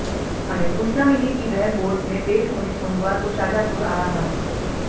हमें सूचना मिली कि वह कोर्ट में पेश होने सोमवार को शाजापुर आ रहा है